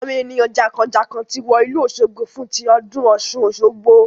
Àwọn ènìyàn jànkànjànkàn ti wọ ìlú òsogbo fún tí ọdún Ọ̀ṣun Osogbo